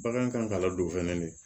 Bagan kan ka ladon fɛnɛ de